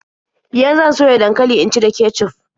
Yan zan soya dankali in ci da kecuf.